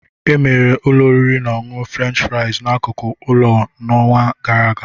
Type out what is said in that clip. Emeghere ụlọ oriri na ọṅụṅụ French fries n'akụkụ ụlọ m n'ọnwa gara aga